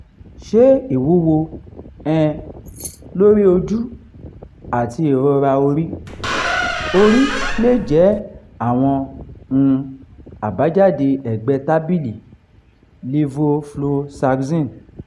ṣé ìwúwo um lórí ojú àti ìrora orí orí lè jẹ́ àwọn um àbájáde ẹ̀gbẹ́ tábìlì levofloxacin?